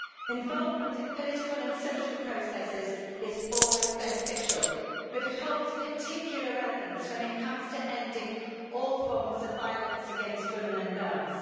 Involvement in political and social processes is always beneficial but it holds particular relevance when it comes to ending all forms of violence against women and girls.